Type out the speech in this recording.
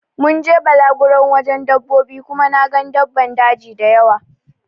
Mun je balaguro wajen dabbobi Kuma na gan daban daji dayawa.